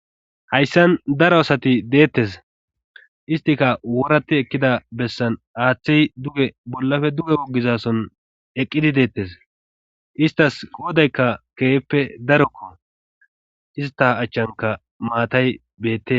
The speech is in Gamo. Hayssan daro asati deettes istika worati ekkida bessan aaththey du'e bollafe du'e woggizason eqqidi deettes istas qoodaykka keeeppe darokko ista achchanka maatay beette.